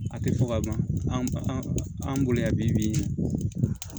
A tɛ fɔ ka ban an bolo yan bi